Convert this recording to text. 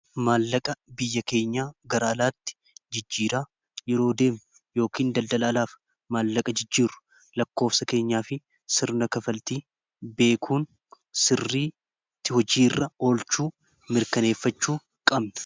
maallaqa biyya keenyaa garaalaatti jijjiiraa yeroo deemu yookiin daldalaalaaf maallaqa jijjiiru lakkoofsa keenyaa fi sirna kafaltii beekuun sirriitti hojii irra olchuu mirkaneeffachuu qabna